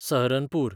Saharanpur